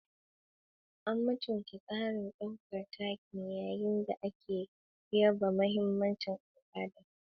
A mutunta tsarin ɗaukar taken yayin da ake yaba mahimmancin al'ada.